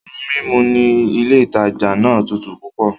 Oun mímu ní ilé ìtajà náà tútù púpọ̀